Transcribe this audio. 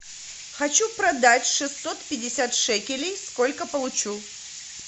хочу продать шестьсот пятьдесят шекелей сколько получу